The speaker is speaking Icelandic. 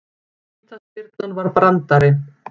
Vítaspyrnan var brandari